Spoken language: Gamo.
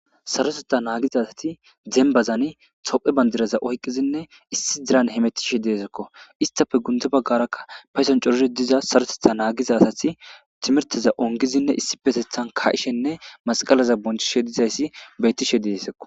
sarosetha naagiza asati dembazani tophe bandiraza oyqqizinne issi diran hemettishe deesekko istafe gunte baggaraka payson corore diza sarotetha naagiza asati timirteza ongizinne issi pesethan ka7ishenne masqalaza bonchishe dizayssi beyttishe deesekko